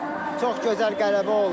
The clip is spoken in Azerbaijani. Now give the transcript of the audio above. Çox gözəl qələbə oldu.